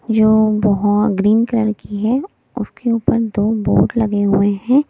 जो बहुत green colour की है उसके ऊपर दो बोर्ड लगे हुए हैं।